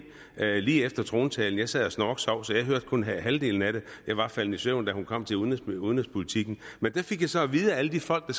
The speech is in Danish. lige efter trontalen jeg sad og snorksov så jeg hørte kun halvdelen af den jeg var faldet i søvn da hun kom til udenrigspolitikken men det fik jeg så at vide af alle de folk der